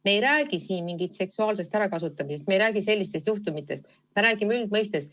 Me ei räägi siin mingist seksuaalsest ärakasutamisest, me ei räägi sellistest juhtumitest, me räägime üldiselt.